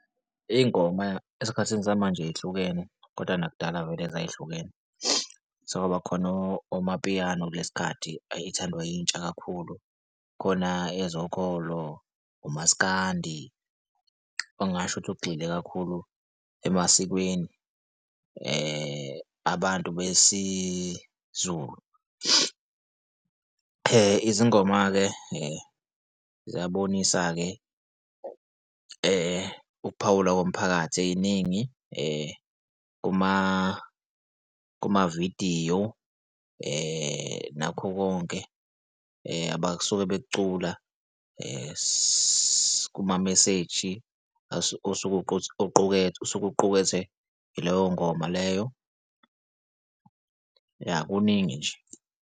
Iy'ngoma esikhathini samanje y'hlukene, koda nakudala vele zay'hlukene sekwaba khona omapiyano kulesikhathi ithandwa yintsha kakhulu, khona, ezokholo, umaskandi ungasho ukuthi ugxile kakhulu emasikweni abantu besiZulu. Izingoma-ke zingabonisa-ke ukuphawula komphakathi ey'ningi kumavidiyo nakho konke abasuke bekucula kumameseji osuke osuke uqukethwe yileyo ngoma leyo. Ya kuningi nje.